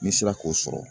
N'i sera k'o sɔrɔ